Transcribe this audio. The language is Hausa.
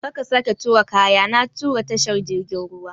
Kar ka sake turo kaya na ta tashar jirgin ruwa!